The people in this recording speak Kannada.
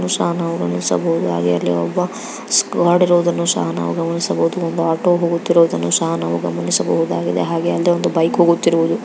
ನಾವು ಇಲ್ಲಿ ಗಮನಿಸಬಹುದು ಹಾಗೂ ಇಲ್ಲಿ ಒಬ್ಬ ಗಾರ್ಡ್ ಇರುವುದನ್ನು ಸಹ ಗಮನಿಸಬಹುದು ಒಂದು ಆಟೋ ಹೋಗುತ್ತಿರುವುದನ್ನು ಸಹ ನಾವು ಗಮನಿಸಬಹುದಾಗಿದೆ ಹಾಗೆ ಒಂದು ಬೈಕ್ ಹೋಗುತ್ತಿರುವುದು .